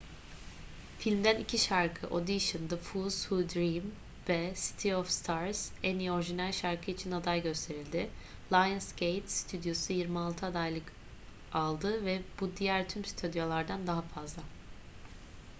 filmden iki şarkı audition the fools who dream ve city of stars en iyi orijinal şarkı için aday gösterildi. lionsgate stüdyosu 26 adaylık aldı - ve bu diğer tüm stüdyolardan daha fazla